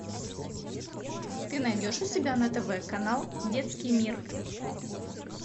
ты найдешь у себя на тв канал детский мир